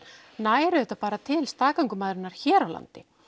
nær auðvitað bara til staðgöngumæðra hér á landi